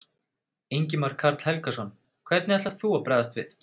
Ingimar Karl Helgason: Hvernig ætlar þú að bregðast við?